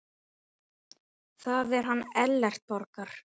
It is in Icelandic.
Það er hann Ellert Borgar.